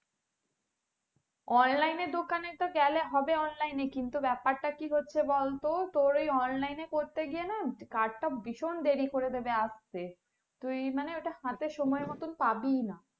online দোকানে তো গেলে হবে online কিন্তু ব্যাপারটা কি হচ্ছে বলতো তোর ওই online করতে গিয়ে না card ভীষণ দেরি করে দেবে আসতে তুই মানে ওটা হাতে সময় মত পাবিই না